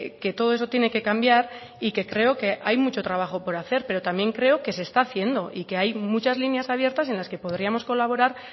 que todo eso tiene que cambiar y que creo que hay mucho trabajo por hacer pero también creo que se está haciendo y que hay muchas líneas abiertas en las que podríamos colaborar